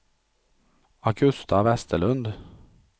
Augusta Vesterlund